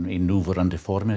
í núverandi formi